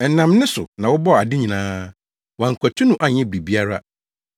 Ɛnam ne so na wɔbɔɔ ade nyinaa. Wɔankwati no anyɛ biribiara.